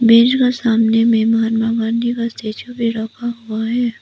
मेज का सामने में महामना मालवीय का स्टेच्यू भी रखा हुआ है।